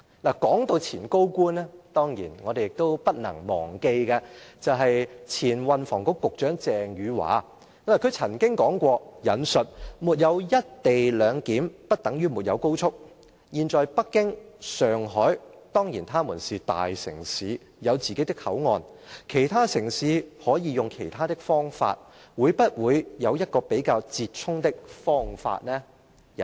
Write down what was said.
說到前高官，當然我們亦都不能忘記的，就是前運輸及房屋局局長鄭汝樺，她曾經說過："沒有'一地兩檢'，不等於沒有高速"，"現在北京、上海，當然它們是大城市，有自己的口岸，其他城市可以用其他方法，會不會有一個比較折衷的方法呢？